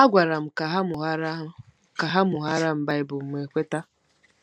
Ha gwara m ka ha mụwara ha mụwara m Baịbụl, mụ ekweta.